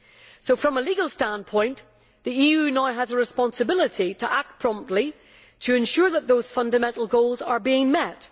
So from a legal standpoint, the EU now has a responsibility to act promptly to ensure that those fundamental goals are being met.